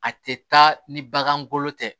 A tɛ taa ni bagan golo tɛ